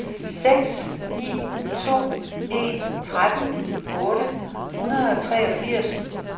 seks ni to en tretten otte hundrede og treogfirs